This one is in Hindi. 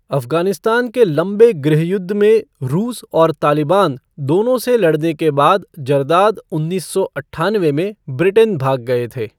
अफ़गानिस्तान के लंबे गृहयुद्ध में रूस और तालिबान दोनों से लड़ने के बाद जरदाद उन्नीस सौ अट्ठानवे में ब्रिटेन भाग गए थे।